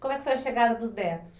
Como é que foi a chegada dos netos?